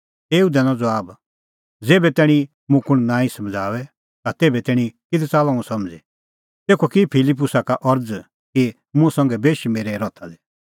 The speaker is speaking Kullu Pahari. तेऊ दैनअ ज़बाब ज़ेभै तैणीं मुंह कुंण नांईं समझ़ाऊए ता तेभै तैणीं किधी च़ाल्लअ हुंह समझ़ी तेखअ की तेऊ फिलिप्पुसा का अरज़ कि मुंह संघै बेश मेरै रथा दी